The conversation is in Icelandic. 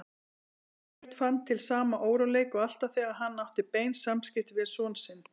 Sveinbjörn fann til sama óróleika og alltaf þegar hann átti bein samskipti við son sinn.